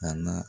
A na